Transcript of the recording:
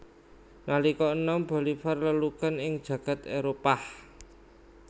Nalika enom Bolivar lelugan ing jagad Éropah